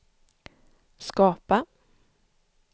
skapa